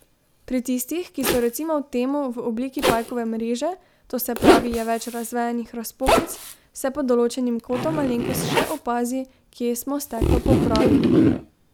Pri tistih, ki so recimo temu v obliki pajkove mreže, to se pravi je več razvejanih razpokic, se pod določenim kotom malenkost še opazi, kje smo steklo popravili.